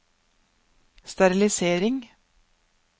sterilisering